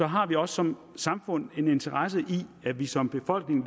har vi også som samfund en interesse i at vi som befolkning